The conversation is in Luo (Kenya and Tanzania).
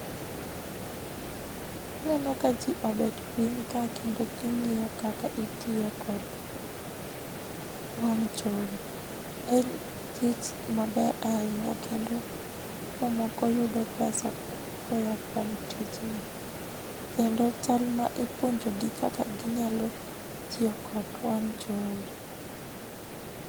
Aneno ka jii obet piny ka kendo gingiyo kaka itiyo kod wang jowi. En tich maber ahinya kendo jomoko yudo pesa koya kuom tijni kendo chal ma ipuonjo gi kaka ginyalo tiyo kod wang jowi.